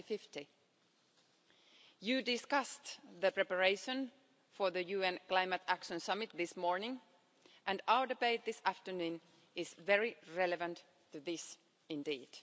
2050. This House discussed the preparations for the UN Climate Action Summit this morning and our debate this afternoon is very relevant to this indeed.